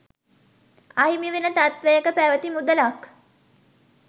අහිමිවන තත්ත්වයක පැවැති මුදලක්